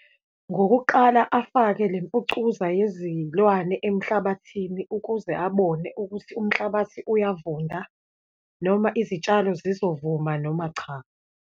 Ngokuqala afake le mfucuza yezilwane emhlabathini ukuze abone ukuthi umhlabathi uyavunda, noma izitshalo zizovuma noma cha.